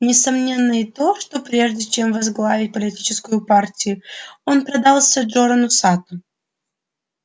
несомненно и то что прежде чем возглавить политическую партию он продался джорану сатту